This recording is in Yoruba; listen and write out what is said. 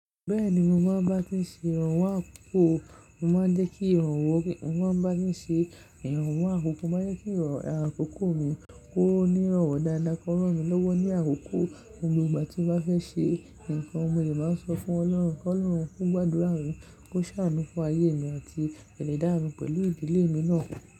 Bẹ́ẹ̀ni mo máa ń bá ti ń ṣe ìrànwọ́ àkọ́kọ́, mo máa ń jẹ́ kí ìrànwọ́ kí, mo máa ń bá ti ń ṣe ìrànwọ́ àkọ́kọ́, mo máa ń jẹ́ kí ìrànwọ́ àkọ́kọ́ mi kó ní ìrànwọ́ dáadáa, kó ràn mí lówó ní àkókò ohun gbogbo tí mo bá fẹ́ ṣe nǹkan, mo de máa sọ fún Ọlọ́run kí Ọlọ́run ko gbàdúrà mi kó ṣàánú fún ayé mi àti pẹ̀lú ìdálẹ̀ mi pẹ̀lú ìdílé mi náà.